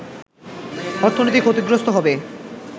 অর্থনীতি ক্ষতিগ্রস্ত হবে